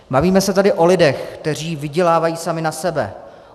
Bavíme se tady o lidech, kteří vydělávají sami na sebe.